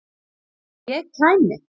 Að ég kæmi?